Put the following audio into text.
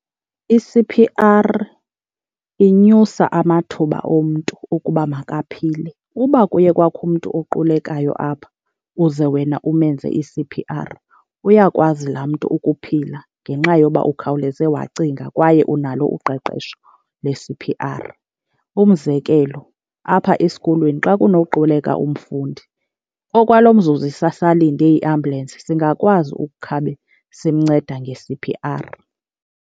I-C_P_R inyusa amathuba omntu ukuba makaphile. Uba kuye kwakho umntu oqulekayo apha uze wena umenze i-C_P_R uyakwazi laa mntu ukuphila ngenxa yoba ukhawuleze wacinga kwaye unalo uqeqesho le-C_P_R. Umzekelo, apha esikolweni xa kunoquleka umfundi, okwalo mzuzu sisalinde iambulensi singakwazi ukukhabe simnceda nge-C_P_R.